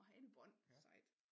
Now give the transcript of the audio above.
Åh hanebånd sejt